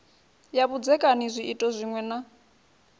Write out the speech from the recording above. ya vhudzekani zwiito zwiṅwe na